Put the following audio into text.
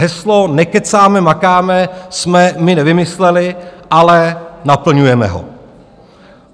Heslo "nekecáme, makáme", jsme my nevymysleli, ale naplňujeme ho.